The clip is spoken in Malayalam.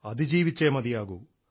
അതിജീവിച്ചേ മതിയാകൂ